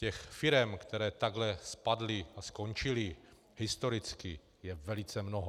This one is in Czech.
Těch firem, které takhle spadly a skončily historicky, je velice mnoho.